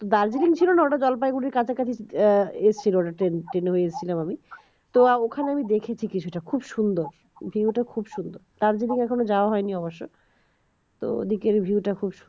দার্জিলিং ছিল না ওটা জলপাইগুড়ি কাছাকাছি এসেছিল train হয়ে এসেছিলাম আমি তো ওখানে আমি দেখেছি কিছুটা খুব সুন্দর view টা খুব সুন্দর দার্জিলিং এখনও যাওয়া হয়নি অবশ্য তো ওদিকের view টা খুব সুন্দর